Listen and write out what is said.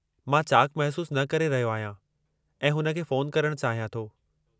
मां चाक़ु महसूसु न करे रहियो आहियां ऐं हुन खे फ़ोनु करणु चाहियां थो।